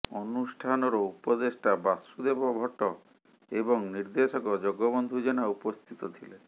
ଅନୁଷ୍ଠାନର ଉପଦେଷ୍ଟା ବାସୁଦେବ ଭଟ୍ଟ ଏବଂ ନିର୍ଦେଶକ ଜଗବନ୍ଧୁ ଜେନା ଉପସ୍ଥିତ ଥିଲେ